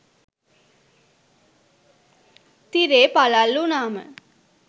තිරේ පලල් උනාම